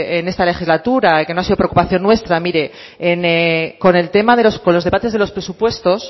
en esta legislatura que no ha sido preocupación nuestra mire con el tema de los debates de los presupuestos